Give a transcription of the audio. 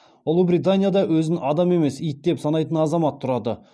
ұлыбританияда өзін адам емес ит деп санайтын азамат тұрады